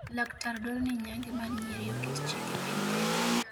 laktar dwaro ni nyange mar nyirioket chik e piny Kenya